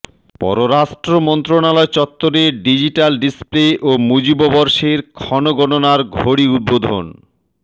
পররাষ্ট্র মন্ত্রণালয় চত্বরে ডিজিটাল ডিসপ্লে ও মুজিববর্ষের ক্ষণগণনার ঘড়ি উদ্বোধন